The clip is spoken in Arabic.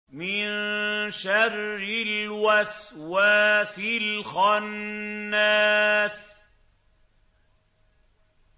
مِن شَرِّ الْوَسْوَاسِ الْخَنَّاسِ